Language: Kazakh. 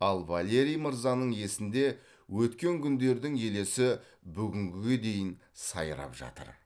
ал валерий мырзаның есінде өткен күндердің елесі бүгінгіге дейін сайрап жатыр